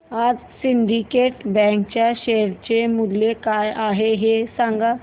आज syndicate bank च्या share चे मूल्य काय आहे हे सांगा